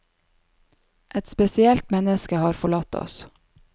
Et spesielt menneske har forlatt oss.